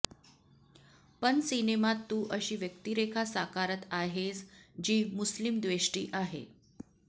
पण सिनेमात तू अशी व्यक्तिरेखा साकारत आहेस जी मुस्लिमद्वेष्टी आहे